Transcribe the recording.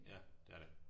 Ja. Det er det